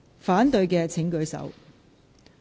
反對的請舉手。